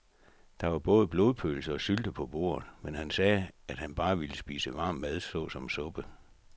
Der var både blodpølse og sylte på bordet, men han sagde, at han bare ville spise varm mad såsom suppe.